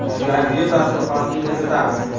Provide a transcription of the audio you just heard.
Yangi yil dasturxonini bezatamiz.